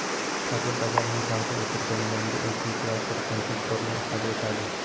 Tadbir davomida taqdim etilgan yangi integrator konstruktorni ifoda etadi.